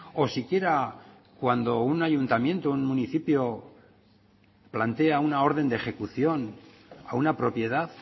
o siquiera cuando un ayuntamiento un municipio plantea una orden de ejecución a una propiedad